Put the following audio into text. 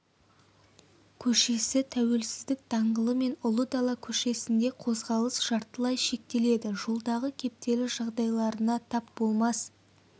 көшесі тәуелсіздік даңғылы мен ұлы дала көшесінде қозғалыс жартылай шектеледі жолдағы кептеліс жағдайларына тап болмас